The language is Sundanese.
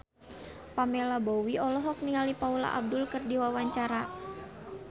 Pamela Bowie olohok ningali Paula Abdul keur diwawancara